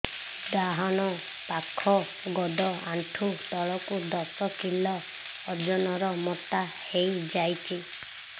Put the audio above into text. ଡାହାଣ ପାଖ ଗୋଡ଼ ଆଣ୍ଠୁ ତଳକୁ ଦଶ କିଲ ଓଜନ ର ମୋଟା ହେଇଯାଇଛି